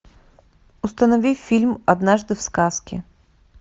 установи фильм однажды в сказке